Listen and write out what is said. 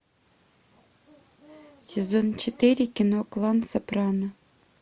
сезон четыре кино клан сопрано